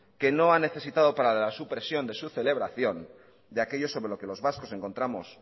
que no ha necesitado para supresión de su celebración de aquello sobre lo que los vascos encontramos